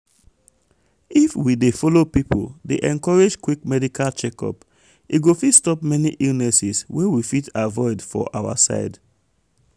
if we det follow people dey encourage quick medical check-up e go fit stop many illnesses wey we fit avoid for our side.